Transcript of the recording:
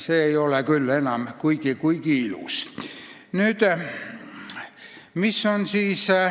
See ei ole küll enam kuigi ilus.